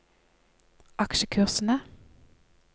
aksjekursene